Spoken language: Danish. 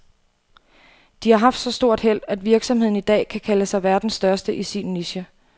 De har haft så stort held, at virksomheden i dag kan kalde sig verdens største i sin niche.